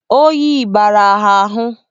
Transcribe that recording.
Oyi bara ha ahụ